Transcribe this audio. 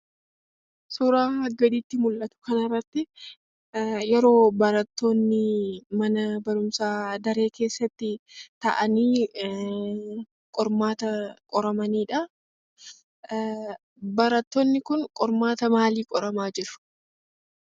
Suuraa gaditti mullatu kana irratti yeroo barattoonni mana barumsaa daree keessatti taa'anii qormaata qoramanidha. Barattoonni kun qormaata maalii qoramaa jiru?